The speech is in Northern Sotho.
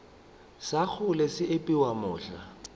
sa kgole se epiwa mohla